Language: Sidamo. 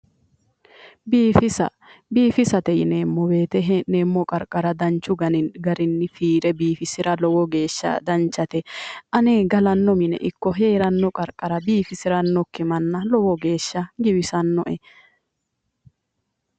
Biifisa. biifisate ineemmo wote hee'neemmo qarqara danchu garinni fiire biifisira lowo geeshsha danchate. ane galanno mine ikko heeranno qarqara biifisirannokki manna lowo geeshsha giwisannoe.